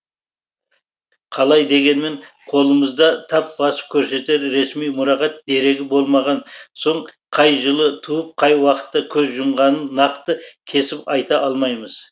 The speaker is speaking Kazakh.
қалай дегенмен қолымызда тап басып көрсетер ресми мұрағат дерегі болмаған соң қай жылы туып қай уақытта көз жұмғанын нақты кесіп айта алмаймыз